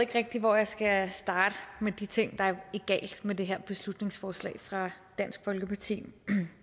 ikke rigtig hvor jeg skal starte med de ting der er galt med det her beslutningsforslag fra dansk folkeparti